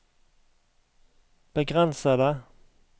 begrensede